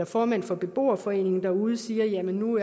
formand for beboerforeningen derude siger at nu